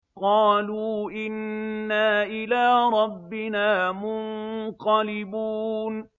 قَالُوا إِنَّا إِلَىٰ رَبِّنَا مُنقَلِبُونَ